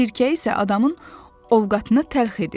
Sirkə isə adamın ovqatını təlx edir.